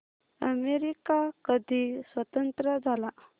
America कधी स्वतंत्र झाला